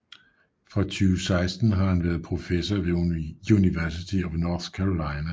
Fra 2016 har han været professor ved University of North Carolina